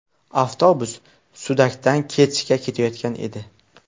Avtobus Sudakdan Kerchga ketayotgan edi.